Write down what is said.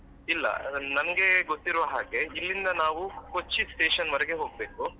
ಇಲ್ಲ ನನ್~ ನನ್ಗೆ ಗೊತ್ತಿರೋ ಹಾಗೆ ಇಲ್ಲಿಂದ ನಾವು Kochi station ವರೆಗೆ ಹೋಗ್ಬೇಕು.